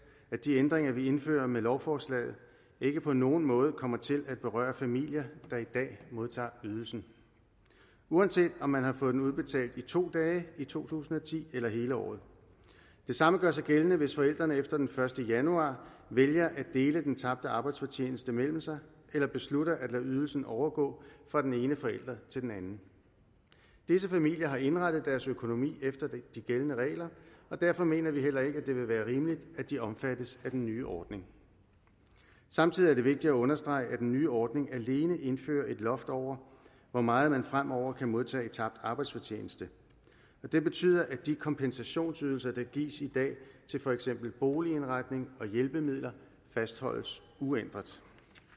at de ændringer vi indfører med lovforslaget ikke på nogen måde kommer til at berøre familier der i dag modtager ydelsen uanset om man har fået den udbetalt i to dage i to tusind og ti eller hele året det samme gør sig gældende hvis forældrene efter den første januar vælger at dele den tabte arbejdsfortjeneste mellem sig eller beslutter at lade ydelsen overgå fra den ene forælder til den anden disse familier har indrettet deres økonomi efter de gældende regler og derfor mener vi heller ikke at det vil være rimeligt at de omfattes af den nye ordning samtidig er det vigtigt at understrege at den nye ordning alene indfører et loft over hvor meget man fremover kan modtage i tabt arbejdsfortjeneste det betyder at de kompensationsydelser der gives i dag til for eksempel boligindretning og hjælpemidler fastholdes uændret